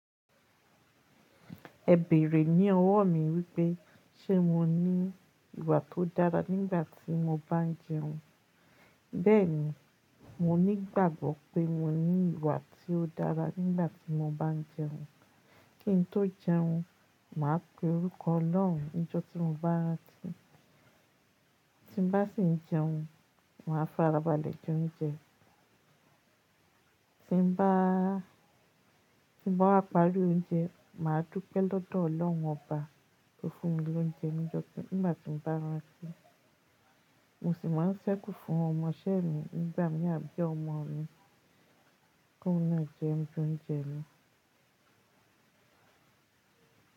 Ẹ bèrè ní ọwọ́ mi wípé ṣé mo ní ìwà tó dára nígbàtí mo bá ń jẹun. Bẹ́ẹ̀ni, mo nígbàgbọ́ pé mo ní ìwà tí ó dára nígbàtí mo bá ń jẹun. Kí n tó jẹun, màá pe orúkọ Ọlọ́run níjọ́ tí mo bá rántí. Tí bá sì ń jẹun, màá farabalẹ̀ jẹ oúnjẹ. Tí bá, tí bá parí oúnjẹ, màá dúpẹ́ lọ́dọ̀ Ọlọ́run ọba tó fún mi lóúnjẹ níjọ́ tí nìgbà tí mo bá rántí. Mo sì máa ń ṣẹ́kù fún ọmọṣẹ́ mi nígbà mí àbí ọmọ mi ki oun nàá jẹ ninu óuńjẹ mi.